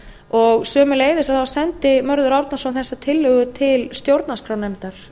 og sömuleiðis sendi mörður árnason þessa tillögu til stjórnarskrárnefndar